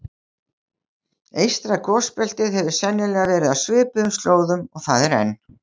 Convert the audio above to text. Eystra gosbeltið hefur sennilega verið á svipuðum slóðum og það er enn.